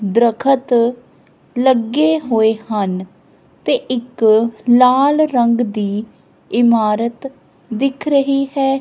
ਦਰਖਤ ਲੱਗੇ ਹੋਏ ਹਨ ਤੇ ਇੱਕ ਲਾਲ ਰੰਗ ਦੀ ਇਮਾਰਤ ਦਿਖ ਰਹੀ ਹੈ।